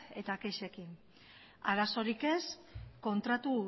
eta kexekin arazorik ez kontratu